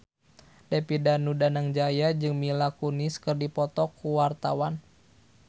David Danu Danangjaya jeung Mila Kunis keur dipoto ku wartawan